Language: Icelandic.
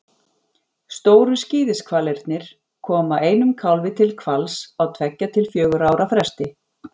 Stóru skíðishvalirnir koma einum kálfi til hvals á tveggja til fjögurra ára fresti.